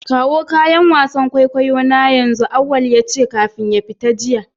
Kawo kayan wasan kwaikwayo na yanzu! auwal yace kafin ya fita jiya.